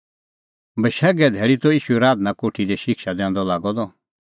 बशैघे धैल़ी त ईशू आराधना कोठी दी शिक्षा दैंदअ लागअ द